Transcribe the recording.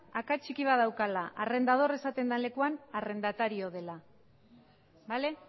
akats txiki bat daukala arrendador esaten den lekuan arrendatario dela bale